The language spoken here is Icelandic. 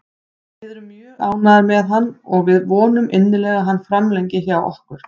Við erum mjög ánægðir með hann og við vonum innilega að hann framlengi hjá okkur.